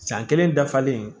San kelen dafalen